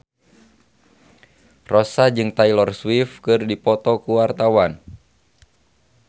Rossa jeung Taylor Swift keur dipoto ku wartawan